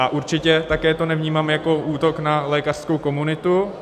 A určitě to také nevnímám jako útok na lékařskou komunitu.